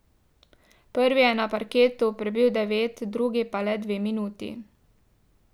Prvi je na parketu prebil devet, drugi pa le dve minuti.